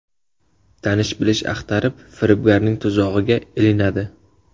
Tanish-bilish axtarib, firibgarning tuzog‘iga ilinadi.